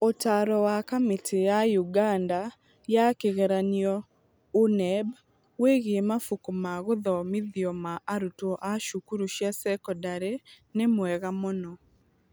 Ũtaaro wa Kamĩtĩ ya ũganda ya Kĩgeranio ũNEB wĩgiĩ mabuku ma gũthomithio ma arutwo a cukuru cia cekondarĩ nĩ mwega mũno.